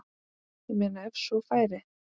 Ég meina ef svo færi.